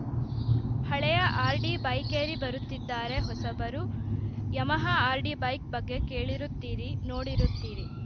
ಹಳೆಯ ಆರ್‌ಡಿ ಬೈಕೇರಿ ಬರುತ್ತಿದ್ದಾರೆ ಹೊಸಬರು ಯಮಹ ಆರ್‌ಡಿ ಬೈಕ್‌ ಬಗ್ಗೆ ಕೇಳಿರುತ್ತೀರಿ ನೋಡಿರುತ್ತೀರಿ